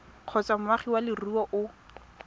kgotsa moagi wa leruri o